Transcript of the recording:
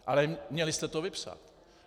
Ale měli jste to vypsat.